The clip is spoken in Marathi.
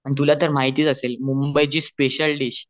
तुला तर माहितीच असेल मुंबई ची स्पेशाल दिश